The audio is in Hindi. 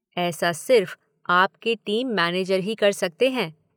ऐसा सिर्फ आपके टीम मैनेजर ही कर सकते हैं।